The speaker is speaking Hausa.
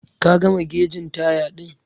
Ka gama gegin taya din?